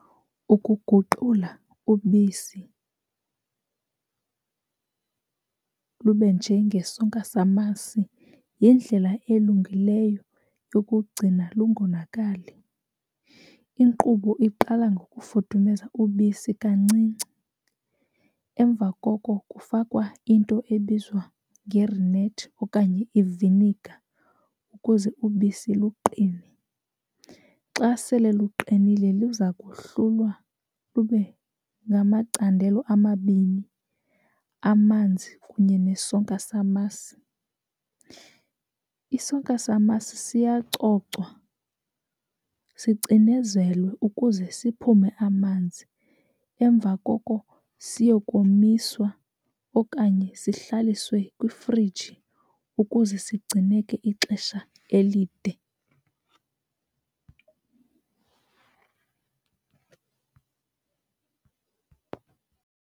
Ukuguqula ubisi lube njengesonka samasi yindlela elungileyo yokugcina lungonakali. Inkqubo iqala ngokufudumeza ubisi kancinci, emva koko kufakwa into ebizwa ngerinethi okanye iviniga ukuze ubisi luqine. Xa sele luqinile luza kohlulwa lube ngamacandelo amabini, amanzi kunye nesonka samasi. Isonka samasi siyacocwa sicinezelwe ukuze siphume amanzi. Emva koko siyokomiswa okanye sihlaliswe kwifriji ukuze sigcineke ixesha elide.